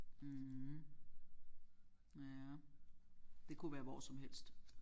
Mh ja det kunne være hvor som helst